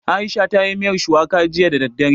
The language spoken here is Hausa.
Aisha ta yi miyar shuwaka jiya da daddare